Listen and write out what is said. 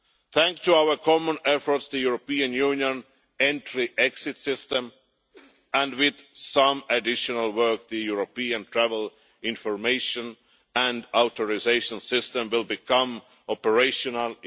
Thanks to our common efforts, the European Union entry exit system and, with some additional work, the European travel information and authorisation system will become operational